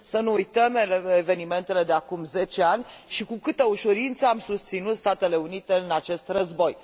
Să nu uităm evenimentele de acum zece ani și cu câtă ușurință am susținut Statele Unite în acest război.